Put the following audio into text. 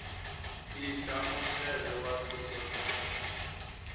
ite mutevhe wa tsumbo dza